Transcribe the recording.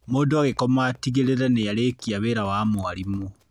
Mũndũ agĩkoma atigĩrĩre nĩ arĩkia wĩra wa mwarimũ